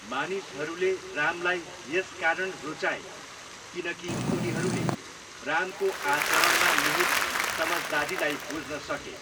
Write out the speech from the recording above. मानिसहरूले रामलाई यसकारण रुचाए किनकि उनीहरूले रामको आचरणमा निहीत समझदारीलाई बुझ्न सके।